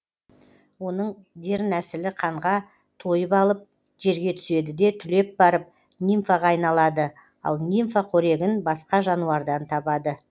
оның дернәсілі қанға тойып алып жерге түседі де түлеп барып нимфаға айналады ал нимфа қорегін басқа жануардан табады